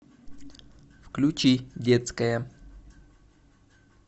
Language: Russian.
включи детская